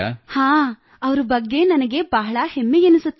ಹಾಂ ಅವರ ಬಗ್ಗೆ ನನಗೆ ಬಹಳ ಹೆಮ್ಮೆಯೆನಿಸುತ್ತದೆ